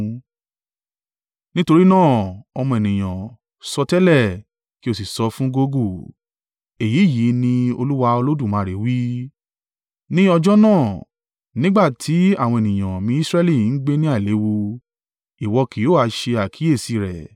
“Nítorí náà, ọmọ ènìyàn, sọtẹ́lẹ̀ kí ó sì sọ fún Gogu: ‘Èyí yìí ni Olúwa Olódùmarè wí: Ní ọjọ́ náà, nígbà tí àwọn ènìyàn mi Israẹli ń gbé ní àìléwu, ìwọ kì yóò ha ṣe àkíyèsí rẹ̀?